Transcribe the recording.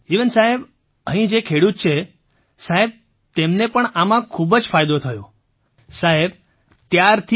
મંજૂરજી એવેન સાહેબ અહીં જે ખેડૂત છે સાહેબ તેમને પણ આમાં ખૂબ જ ફાયદો થયો સાહેબ ત્યારથી